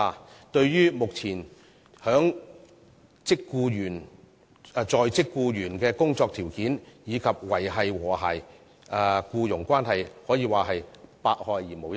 這對於目前在職僱員的工作條件，以及維繫和諧的僱傭關係，可說是百害而無一利。